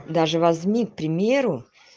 даже возьми к примеру